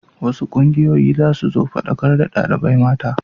Wasu ƙungiyoyi za su zo su faɗakar da ɗalibai mata.